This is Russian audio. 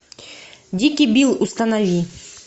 дикий билл установи